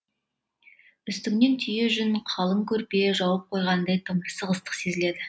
үстіңнен түйе жүн қалың көрпе жауып қойғандай тымырсық ыстық сезіледі